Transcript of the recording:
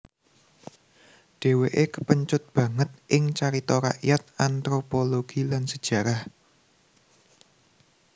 Dheweke kepencut banget ing carita rakyat anthropologi lan sejarah